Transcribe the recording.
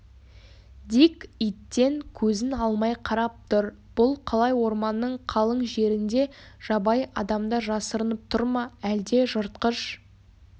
дик иттен көзін алмай қарап тұр бұл қалай орманның қалың жерінде жабайы адамдар жасырынып тұр ма әлде жыртқыш